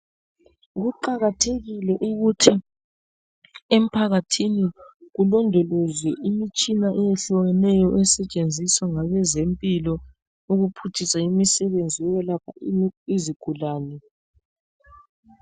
Kuqakathekile ukuthi emphakathini kulondolozwe imitshina eyehlukeneyo esetshenziswa ngabezempilo ukuphutshisa imisebenzi yokwelapha izigulane.